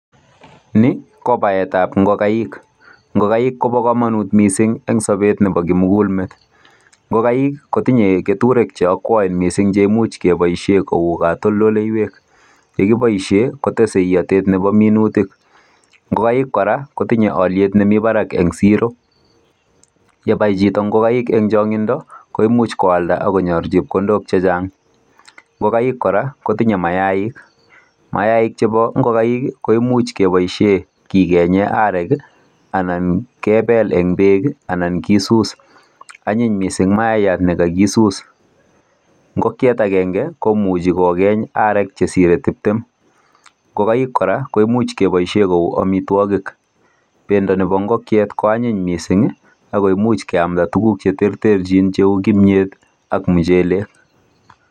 Ni ko paetab ingogaik. Ingogaik kobo kamanut kot mising eng sobet nebo kimugulmet. Ngogaik kotinye keturek che akwoen mising che imuch keboisien kou katoldoleiywek. Ye kiboisien kotese iyotet nebo minutik. Ngogaik kora, kotinye alyet nemi barak eng siro. Yebai chito ngogaik eng chongindo koimuch koalda ak konyor chepkondok che chang. Ngogaik kora kotinye mayaik. Mayaik chebo ingogaik ii koimuch keboisien kigenye arek ii anan kepel eng beek anan kisus. Anyiny mising maayat ne kagisus. Ngokiet agenge komuchi kogeny arek che sire tiptem. Ngogaik kora ko imuch keboisien kou amitwogik. Bendo nebo ingokiet ko anyiny mising ii ago imuch keamnda tuguk che terterchin cheu kimnyet ak muchelek.